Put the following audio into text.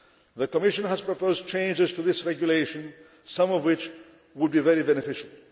The Commission has proposed changes to this Regulation, some of which would be very beneficial.